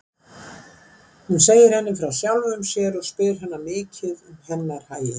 Hann segir henni frá sjálfum sér og spyr hana mikið um hennar hagi.